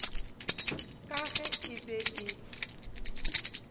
ka ge e be e